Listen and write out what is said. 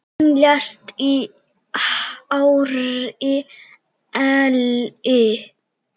Hún lést í hárri elli.